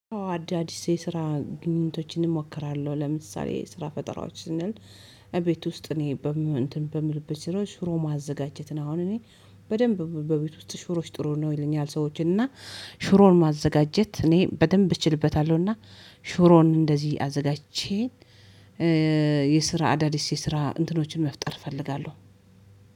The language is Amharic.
አዳዲስ የስራ ግንኙነቶችን እሞክራለሁ ለምሳሌ ስራ ፈጠራዎች እና እቤት ውስጥ እኔ በምልበት ሽሮ ሽሮ ማዘጋጀት ነው። አሁን እኔ በደንብ በቤት ውስጥ ሽሮች ጥሩ ነው ይለኛል። ሰዎች እና ሽሮን ማዘጋጀት እኔ በደንብ እችልበታለሁና። ሽሮን እንደዚህ አዘጋጅቼ አዳዲስ የስራ እንትኖችን መፍጠር እፈልጋለሁ።